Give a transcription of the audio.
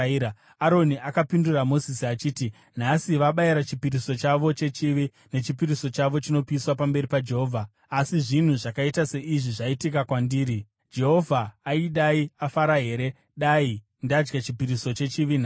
Aroni akapindura Mozisi achiti, “Nhasi vabayira chipiriso chavo chechivi nechipiriso chavo chinopiswa pamberi paJehovha asi zvinhu zvakaita seizvi zvaitika kwandiri. Jehovha aidai afara here dai ndadya chipiriso chechivi nhasi?”